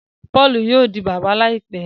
Paulú yóò di bàbá láìpé